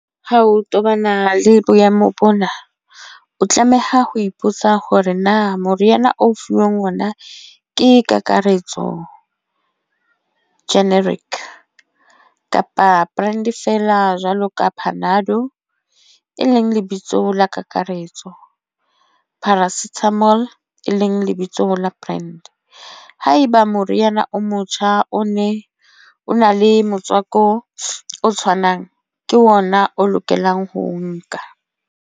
Ho tobana le boemo bona, o tlameha ho ipotsa hore na moriana o fuweng ona ke kakaretso generic kapa brands feela jwalo ka panado, e leng lebitso la kakaretso paracetamol e leng lebitso la brand. Ha eba moriana o motjha o ne o na le motswako o tshwanang, ke ona o lokelang ho nka.